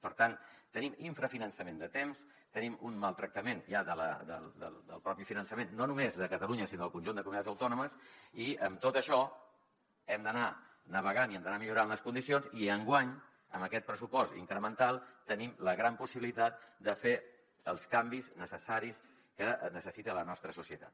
per tant tenim infrafinançament de temps tenim un maltractament ja del propi finançament no només de catalunya sinó del conjunt de comunitats autònomes i amb tot això hem d’anar navegant i hem d’anar millorant les condicions i enguany amb aquest pressupost incremental tenim la gran possibilitat de fer els canvis necessaris que necessita la nostra societat